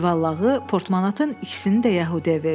Cüvəllağı portmanatın ikisini də yəhudiyə verdi.